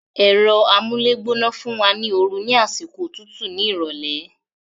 Ẹ̀rọ amúlégbóná fún wa ní oru ní àsìkò òtútù ní ìrọ̀lẹ́